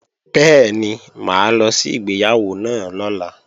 Bẹ́ẹ̀ni, mà á lọ sí ìgbéyàwó náà lọ́la